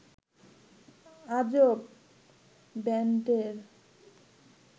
আজব ব্যান্ডের